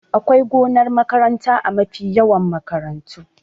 Akwai gonar makaranta a mafi yawan makarantu